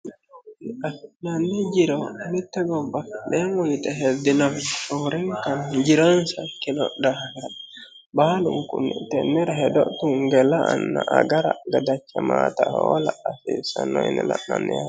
afi'nanni jiro mitte gobbafi'neemo yite hedinowi roorinkan jironsa kino daafira baalunkunni tennira hedo tungenna la"anna agara gadachamannota hoola hasiissanno yine la'nanni yaatee